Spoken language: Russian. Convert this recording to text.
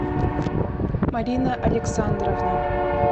марина александровна